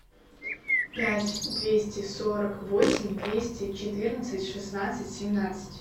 пять двести сорок восемь двести четырнадцать шестнадцать семнадцать